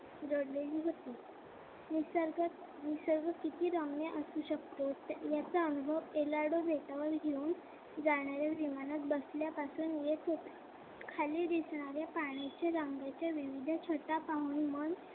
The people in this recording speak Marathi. निसर्ग निसर्ग किती रम्य असू शकतो याचा अनुभव elado बेटावर घेऊन जाणाऱ्या विमानात बसण्यापासून येत होता. खाली दिसणारे रंगाच्या पाण्याच्या विविध छटा पाहून मन